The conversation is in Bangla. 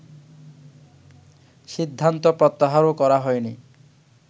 সিদ্ধান্ত প্রত্যাহারও করা হয়নি